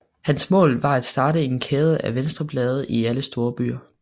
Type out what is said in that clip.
Hans mål var at starte en kæde af venstreblade i alle større byer